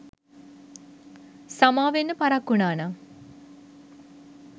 සමාවෙන්න පරක්කු වුනානම්.